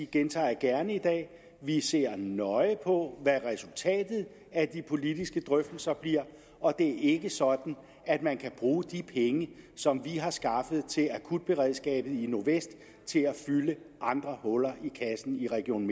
gentager jeg gerne i dag at vi ser nøje på hvad resultatet af de politiske drøftelser bliver og det er ikke sådan at man kan bruge de penge som vi har skaffet til akutberedskabet i nordvest til at fylde andre huller i kassen i region